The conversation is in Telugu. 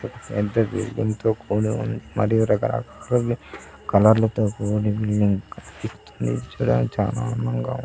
తో కూడి ఉంది. మరియు రకరకాలవి కలర్ లతో కూడి బిల్డింగ్ చూడానికి చానా అందంగా --